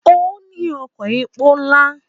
Ó ní ọkọ̀ epo ńlá.